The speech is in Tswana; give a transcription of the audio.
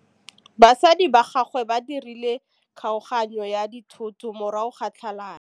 Batsadi ba gagwe ba dirile kgaoganyô ya dithoto morago ga tlhalanô.